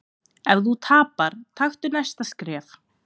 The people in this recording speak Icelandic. Ef þú tapar, taktu næsta skref.